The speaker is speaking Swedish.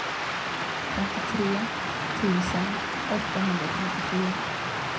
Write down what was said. femtiotre tusen åttahundrafemtiofyra